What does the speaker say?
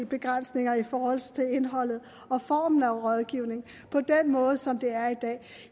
begrænsninger i forhold til indholdet og formen af rådgivning på den måde som det er i dag